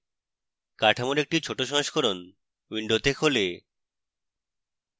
কাঠামোর একটি ছোট সংস্করণ window খোলে